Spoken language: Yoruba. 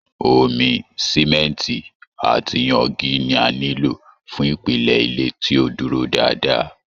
Omi, Simẹnti àti yangi ni a nilo fún ìpìlẹ̀ ilé tí ó dúró dáadáa.